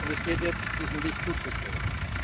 Und es gilt jetzt, diesem Licht zuzustreben.